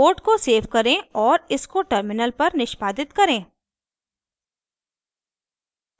code को save करें और इसको टर्मिनल पर निष्पादित करें